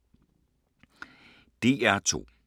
DR2